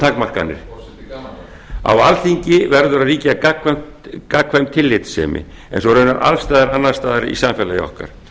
forseti gaman á alþingi verður að ríkja gagnkvæm tillitssemi eins og raunar alls staðar annars staðar í samfélagi okkar